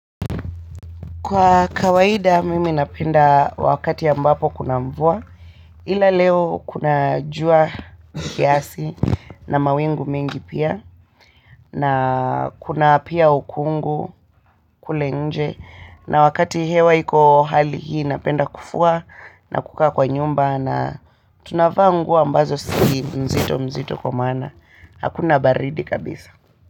Kwa kawaida mimi napenda wakati ambapo kuna mvua ila leo kuna jua kiasi na mawingu mingi pia na kuna pia ukungu kule nje na wakati hewa iko hali hii napenda kufua na kukaa kwa nyumba na tunavaa nguo ambazo si mzito mzito kwa maana hakuna baridi kabisa.